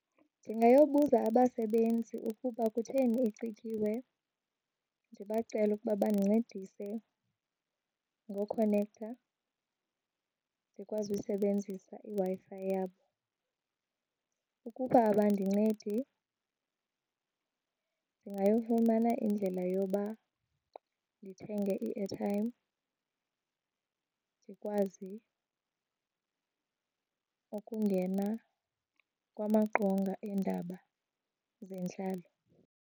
Ndingayobuza abasebenzi ukuba kutheni icikiwe ndibacele ukuba bandincedise ngokhonektha ndikwazi usebenzisa iWi-fi yabo. Ukuba abandincedi ndingafumana indlela yoba ndithenge i-airtime ndikwazi ukungena kumaqonga eendaba zentlalo.